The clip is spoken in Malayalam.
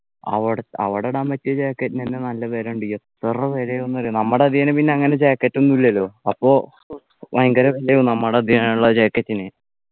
അവിട അവിടെ ഇടാൻ പറ്റിയ Jacket നു എന്നെ നല്ല വിലണ്ട് എത്ര വിലയാന്ന് അറിയോ നമ്മുടെ അതികേലും പിന്നെ അങ്ങനെ Jacket ഒന്നും ഇല്ലല്ലോ അപ്പൊ ഭയങ്കര നമ്മുടെ അതിനുള്ള Jacket ന്